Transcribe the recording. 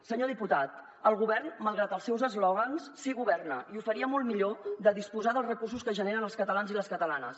senyor diputat el govern malgrat els seus eslògans sí que governa i ho faria molt millor de disposar dels recursos que generen els catalans i les catalanes